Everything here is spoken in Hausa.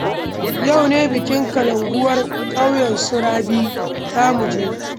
Yau ne bikin kalankuwar ƙauyen su Rabi, za mu je